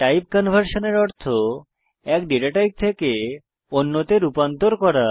time কনভার্সনের অর্থ এক ডেটা টাইপ থেকে অন্যতে রূপান্তর করা